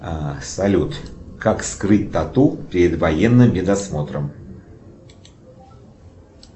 салют как скрыть тату перед военным медосмотром